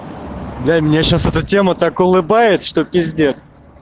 да и мне сейчас это тема так улыбает что пиздец